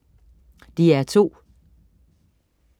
DR2: